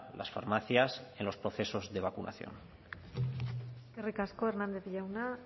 las farmacias en los procesos de vacunación eskerrik asko hernández jauna